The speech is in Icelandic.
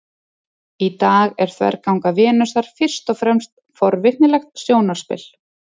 í dag er þverganga venusar fyrst og fremst forvitnilegt sjónarspil